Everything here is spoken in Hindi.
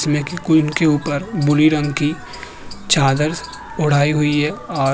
ऊपर भूरे रंग की चादर उढ़ाई हुई है और --